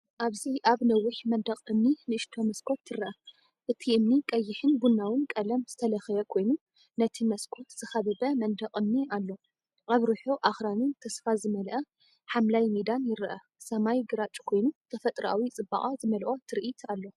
ኣብዚ ኣብ ነዊሕ መንደቕ እምኒ ንእሽቶ መስኮት ትርአ። እቲ እምኒ ቀይሕን ቡናውን ቀለም ዝተለኽየ ኮይኑ፡ነቲ መስኮት ዝኸበበ መንደቕ እምኒ ኣሎ። ኣብ ርሑቕ ኣኽራንን ተስፋ ዝመልአ ሓምላይ ሜዳን ይረአ፤ ሰማይ ግራጭ ኮይኑ ተፈጥሮኣዊ ጽባቐ ዝመልኦ ትርኢት ኣሎ።